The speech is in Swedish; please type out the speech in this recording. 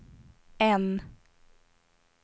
N